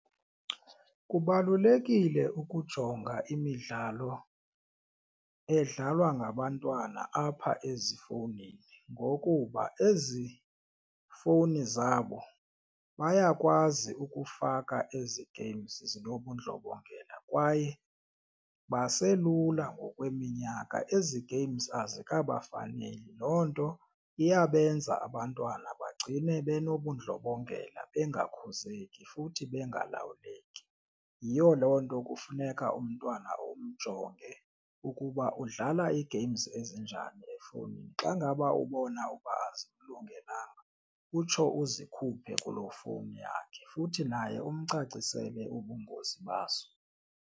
Kubalulekile ukujonga imidlalo edlalwa ngabantwana apha ezifowunini ngokuba ezi fowuni zabo bayakwazi ukufaka ezi games zinobundlobongela kwaye baselula ngokweminyaka. Ezi games azikabafaneli loo nto iyabenza abantwana bagcine banobundlobongela bangakhuzeki futhi bengalawuleki. Yiyo loo nto kufuneka umntwana umjonge ukuba udlala ii-games ezinjani efowunini. Xa ngaba ubona uba azimlungelanga utsho uzikhuphe kulo fowuni yakhe futhi naye umcacisela ubungozi bazo.